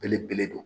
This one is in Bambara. Belebele don